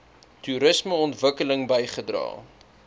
toerisme ontwikkeling bygedra